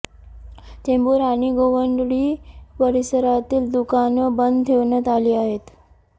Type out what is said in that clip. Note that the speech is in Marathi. चेंबूर आणि गोवंडी परिसरातील दुकानं बंद ठेवण्यात आली आहेत